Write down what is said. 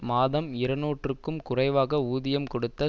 மாதம் இருநூறுக்கும் குறைவாக ஊதியம் கொடுத்து